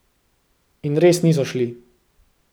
In res niso šli.